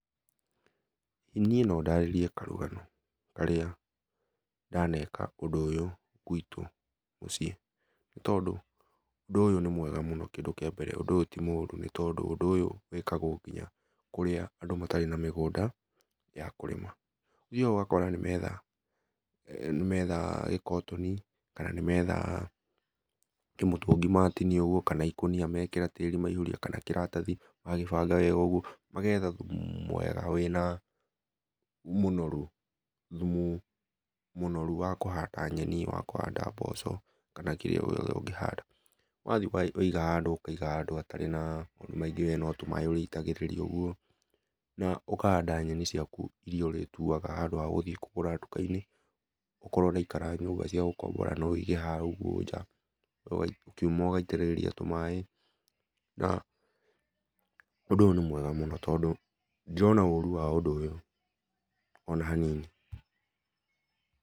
Niĩ no ndarĩrie karũgano karĩa ndaneka ũndũ ũyũ gũitũ mũciĩ, nĩ tondũ ũndũ ũyũ nĩ mwega mũno kĩndũ kĩa mbere ũndũ ũyũ tĩ mũrũ ũndũ ũyũy wĩkagwo ngĩnya kũrĩa andũ matarĩ na migũnda ya kũrĩma, ũgakora nĩ metha gĩkotoni, kana nĩ metha kĩmũtũngĩ matĩnĩa ũgũo kana ĩkũnĩa mekĩra tĩrĩ maihũria kana kĩratathi magagĩbanga wega ũgũo magetha thũmũ mwega wĩna mũnorũ thũmũ mũnorũ wa kũhanda mboco kana kĩrĩa gĩothe ũngĩhanda wathi waiga handũ ũkaiga handũ hatarĩ na we no tũmaĩ ũrĩitagĩrĩria ũgũo, na ũkahanda nyenĩ ciakũ irĩa ũtĩtũaga handũ ha gũthiĩ kũgũra ndũkainĩ o korwo ũraĩkara nyũmba inĩ cia gũkombora no wĩige haĩ nja ũkĩũma ũgaĩtĩrĩria tũmaĩ na ũndũ ũyũ nĩ mwega mũno ndirona ũrũ wa ũndũ ũyũ ona hanini